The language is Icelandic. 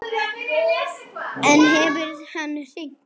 En hefur hann hringt?